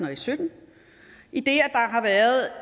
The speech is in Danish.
og sytten idet der